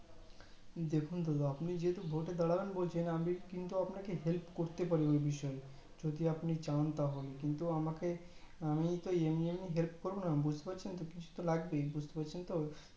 দেখেন দাদা আপনি যেহেতু ভোটে দাঁড়াবেন বলছেন আমি কিন্তু আপনাকে help করতে পারি এই বিষয় এ যদি আপনি চান তাহলে কিন্তু আমাকে আমি তো এমনি এমনি help করবো না বুজতে পারছেন তো কিছু তো লাগবেই বুজতে পারছেন তো